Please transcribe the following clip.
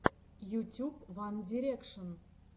ютюб ван дирекшен